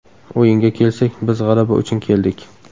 O‘yinga kelsak, biz g‘alaba uchun keldik.